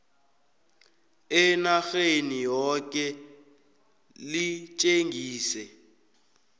enarheni yoke litjengise